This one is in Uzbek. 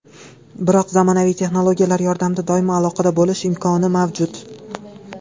Biroq zamonaviy texnologiyalar yordamida doimo aloqada bo‘lish imkoni mavjud.